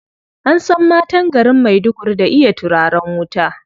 An san matan garin Maiduguri da iya turaren wuta.